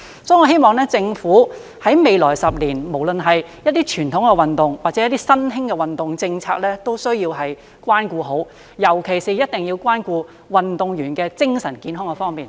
所以，我希望政府未來10年無論是對於一些傳統運動或新興的運動政策，都需要關顧好，尤其一定要關顧運動員的精神健康方面。